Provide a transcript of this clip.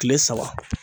Kile saba